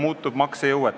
Austatud juhataja!